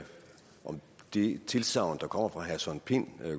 det tilsagn der kommer fra herre søren pind